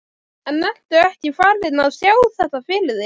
En ertu ekkert farinn að sjá þetta fyrir þér?